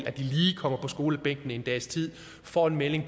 at de lige kommer på skolebænken en dags tid får en melding